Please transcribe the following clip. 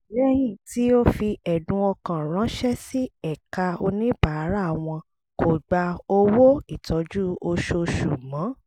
lẹ́yìn tí o fi ẹ̀dùn ọkàn ránṣẹ́ sí ẹ̀ka oníbàárà wọ́n kò gba owó ìtọ́jú oṣooṣù mọ́